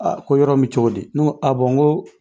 ko yɔrɔ in mi cogo di ? Ne ko a n ko